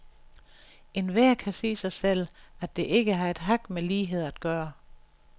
Enhver kan sige sig selv, at det ikke har et hak med lighed at gøre.